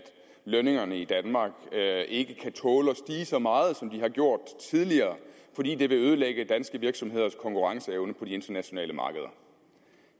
lønningerne i danmark ikke kan tåle så meget som de har gjort tidligere fordi det vil ødelægge danske virksomheders konkurrenceevne på de internationale markeder